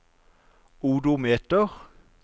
odometer